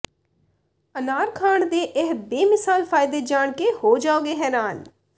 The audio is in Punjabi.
ਅਨਾਰ ਖਾਣ ਦੇ ਇਹ ਬੇਮਿਸਾਲ ਫਾਇਦੇ ਜਾਣ ਕੇ ਹੋ ਜਾਓਗੇ ਹੈਰਾਨ